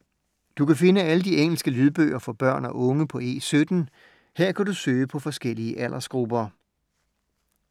Du kan finde alle de engelske lydbøger for børn og unge på E17. Her kan du søge på forskellige aldersgrupper.